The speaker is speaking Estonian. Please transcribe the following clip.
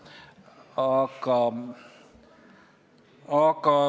Tänane mure on see, et paljud pangad enam ei anna Eesti ettevõtjatele laenu, aga pensionifondid veel annavad.